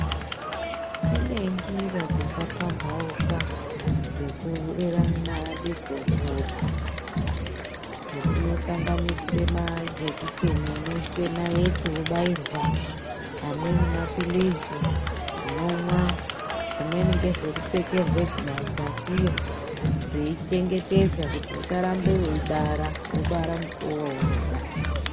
Kunenjira dzaka pambauka dzekurera ndidzo mhuri, unosanganisire majekiseni unoiswe nayiti wobayirwa amweni ma pilizi unomwa zvimweni ngezvekupfekerwe dzasiyo zveichengetedza kuti usarambe wei bara wobara mukuwo waunoda.